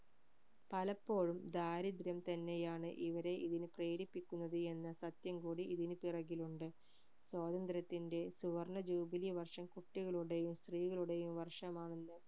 പലപ്പോഴും ദാരിദ്ര്യം തന്നെ ആണ് ഇവരെ ഇതിന്പ പ്രേരിപ്പിക്കുന്നത് എന്ന സത്യംകൂടി ഇതിനു പുറകിലുണ്ട് സ്വാതന്ത്ര്യത്തിന്റെ സുവർണ്ണ ജൂബിലി വർഷം കുട്ടികളുടെയും സ്ത്രീകളുടെയും വര്ഷമാണെന്ന്